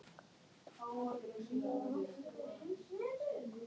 Edda Andrésdóttir: Þóra, hvenær hefst athöfnin?